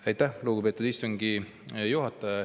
Aitäh, lugupeetud istungi juhataja!